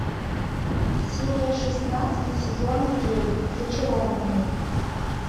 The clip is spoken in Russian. серия шестнадцать сезона девять зачарованные